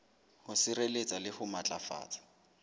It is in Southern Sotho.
ho sireletsa le ho matlafatsa